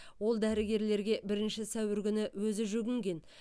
ол дәрігерлерге бірінші сәуір күні өзі жүгінген